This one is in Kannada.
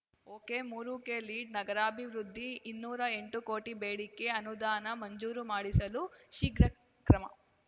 ಒಕೆಮೂರುಕ್ಕೆ ಲೀಢ್‌ನಗರಾಭಿವೃದ್ಧಿ ಇನ್ನೂರಾ ಎಂಟು ಕೋಟಿ ಬೇಡಿಕೆ ಅನುದಾನ ಮಂಜೂರು ಮಾಡಿಸಲು ಶೀಘ್ರ ಕ್ರಮ